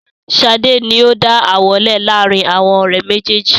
Sade ni ó dá ááwọ̀ lẹ laarin awọn ọ̀rẹ́ méjèèjì